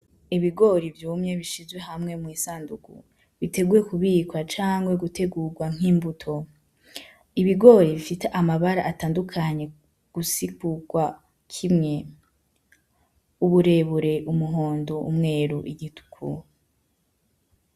Ibigori vyumye bishizwe hamwe mwi'isandugu, biteguwe kubikwa canke gutegurwa nkimbuto. Ibigori bifise amabara atandukanye gusigurwa kimwe, uburebure, umuhondo, umweru, igituku.